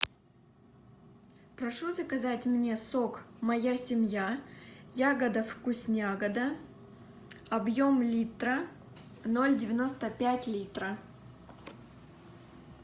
прошу заказать мне сок моя семья ягода вкуснягода объем литра ноль девяносто пять литра